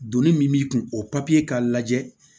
Donni min b'i kun o papiye k'a lajɛ